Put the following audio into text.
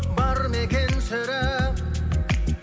бар ма екен сірә